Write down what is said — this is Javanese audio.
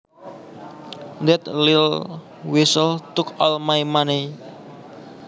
That little weasel took all my money